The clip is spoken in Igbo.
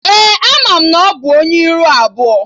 Ee, ana m na ọ bụ Onye ihu abụọ